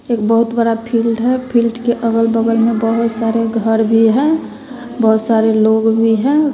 एक बहुत बड़ा फील्ड है फील्ड के अगल बगल में बहोत सारे घर भी हैं बहोत सारे लोग भी हैं।